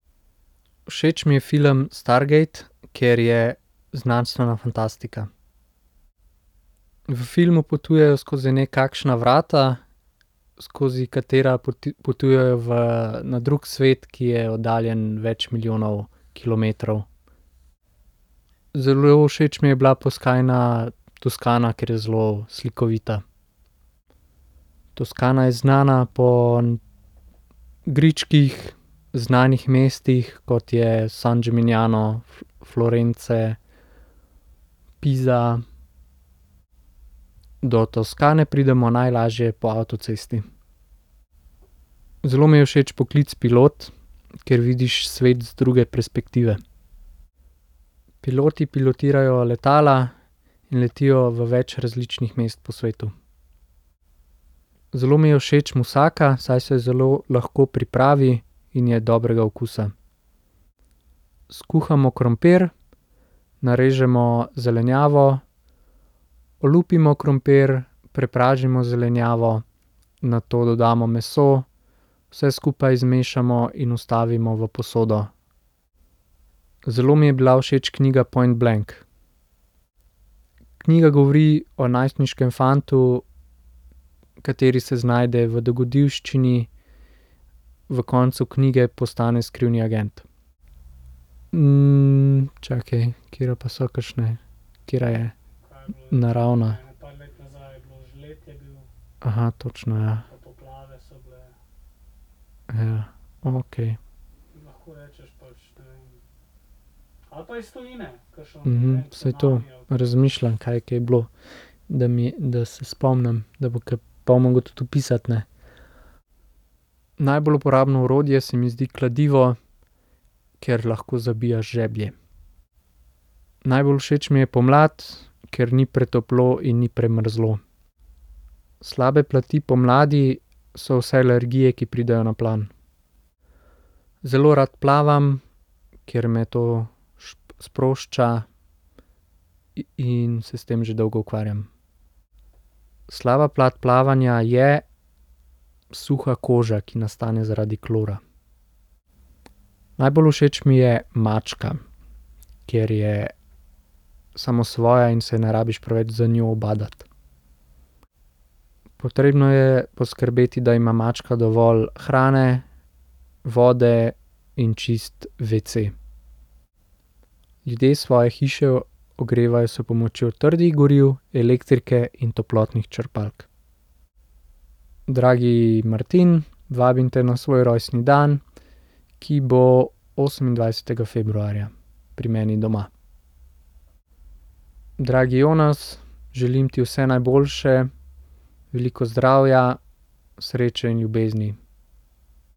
Všeč mi je film Stargate, ker je znanstvena fantastika. V filmu potujejo skozi nekakšna vrata, skozi katera potujejo na drug svet, ki je oddaljen več milijonov kilometrov. Zelo všeč mi je bila Toskana, ker je zelo slikovita. Toskana je znana po gričkih, znanih mestih, kot je San Gimigniano, Florence, Pisa. Do Toskane pridemo najlažje po avtocesti. Zelo mi je všeč poklic pilot, ker vidiš svet z druge perspektive. Piloti pilotirajo letala in letijo v več različnih mest po svetu. Zelo mi je všeč musaka, saj se jo zelo lahko pripravi in je dobrega okusa. Skuhamo krompir, narežemo zelenjavo, olupimo krompir, prepražimo zelenjavo nato dodamo meso, vse skupaj zmešamo in vstavimo v posodo. Zelo mi je bila všeč knjiga Point blank. Knjiga govori o najstniškem fantu, kateri se znajde v dogodivščini, v koncu knjige postane skrivni agent. čakaj, katere pa so kakšne? Katera je? Naravna? točno, ja. Ja, okej. saj to, razmišljam, kaj je kaj bilo. Da mi, da se spomnim, do bo po bom mogel tudi opisati, ne. Najbolj uporabno orodje se mi zdi kladivo, ker lahko zabijaš žeblje. Najbolj všeč mi je pomlad, ker ni pretoplo in ni premrzlo. Slabe plati pomladi so vse alergije, ki pridejo na plan. Zelo rad plavam, ker me to sprošča in se s tem že dolgo ukvarjam. Slaba plat plavanja je suha koža, ki nastane zaradi klora. Najbolj všeč mi je mačka, ker je samosvoja in se ne rabiš preveč z njo ubadati. Potrebno je poskrbeti, da ima mačka dovolj hrane, vode in čist vece. Ljudje svoje hiše ogrevajo s pomočjo trdih goriv, elektrike in toplotnih črpalk. Dragi Martin, vabim te na svoj rojstni dan, ki bo osemindvajsetega februarja pri meni doma. Dragi Jonas, želim ti vse najboljše, veliko zdravja, sreče in ljubezni.